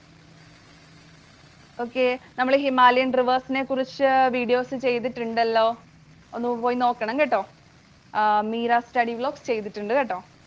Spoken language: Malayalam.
Okay. നമ്മൾ Himalayan Rivers നെ കുറിച്ച് videos ചെയ്തിട്ടുണ്ടല്ലോ. ഒന്ന് പോയി നോക്കണം കേട്ടൊ. ചെയ്തിട്ടുണ്ട്‌കെട്ടോ.